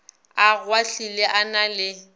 a kgwahlile a na le